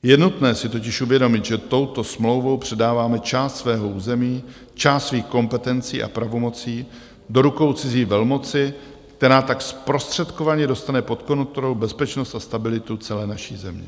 Je nutné si totiž uvědomit, že touto smlouvou předáváme část svého území, část svých kompetencí a pravomocí do rukou cizí velmoci, která tak zprostředkovaně dostane pod kontrolu bezpečnost a stabilitu celé naší země.